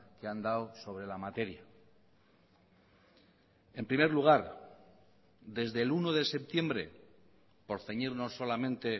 que han dado sobre la materia en primer lugar desde el uno de septiembre por ceñirnos solamente